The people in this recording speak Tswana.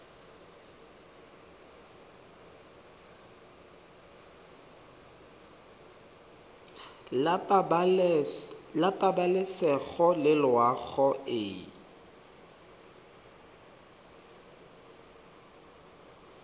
la pabalesego le loago e